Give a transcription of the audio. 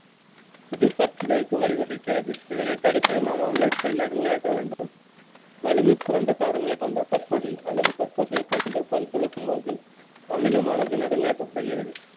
இது பற்சிதைக்கு வழிவகுக்கிறது இதனை தடுக்க நாம் அமிலத்தை நடுநிலையாக்க வேண்டும் வலிமை குறைந்த காரங்களை கொண்ட பற்பொடி அல்லது பற்பசையை கொண்டு பல் துலக்கும் போது அமிலமானது நடுநிலையாக்கப்படுகிறது